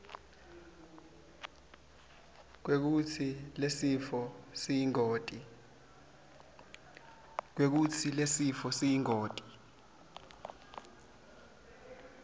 kwekutsi lesifo siyingoti